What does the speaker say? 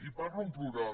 i parlo en plural